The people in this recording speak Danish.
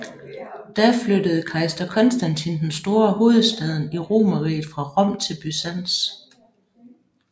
Da flyttede kejser Konstantin den Store hovedstaden i Romerriget fra Rom til Byzans